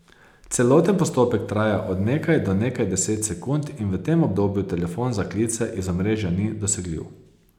Celoten postopek traja od nekaj do nekaj deset sekund in v tem obdobju telefon za klice iz omrežja ni dosegljiv.